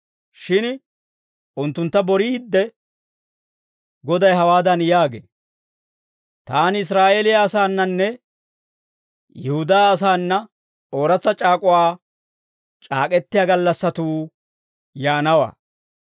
Shin unttuntta boriidde, Goday hawaadan yaagee; «Taani Israa'eeliyaa asaananne Yihudaa asaana, ooratsa c'aak'uwaa c'aak'k'etiyaa gallassatuu yaanawaa.